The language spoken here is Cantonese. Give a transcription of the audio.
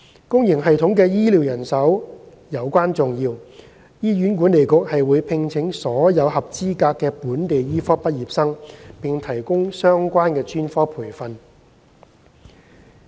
公營系統的醫療人手尤關重要，醫院管理局會聘請所有合資格的本地醫科畢業生並提供相關專科培訓。